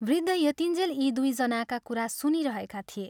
वृद्ध यतिन्जेल यी दुइ जनाका कुरा सुनिरहेका थिए।